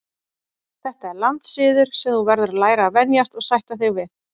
Þetta er landssiður sem þú verður að læra að venjast og sætta þig við.